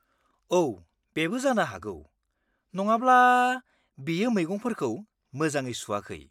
-औ, बेबो जानो हागौ, नङाब्ला बियो मैगंफोरखौ मोजाङै सुआखै।